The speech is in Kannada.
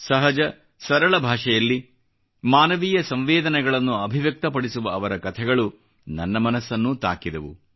ಸಹಜ ಸರಳ ಭಾಷೆಯಲ್ಲಿ ಮಾನವೀಯ ಸಂವೇದನೆಗಳನ್ನು ಅಭಿವ್ಯಕ್ತಪಡಿಸುವ ಅವರ ಕಥೆಗಳು ನನ್ನ ಮನಸ್ಸನ್ನೂ ತಾಕಿದವು